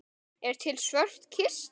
Er til svört kista?